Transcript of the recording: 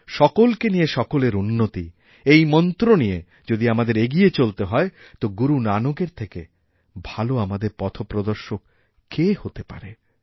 সকলকে নিয়ে সকলের উন্নতি এই মন্ত্র নিয়ে যদি আমাদের এগিয়ে চলতেহয় তো গুরু নানকএর থেকে ভালো আমাদের পথপ্রদর্শক কে হতে পারে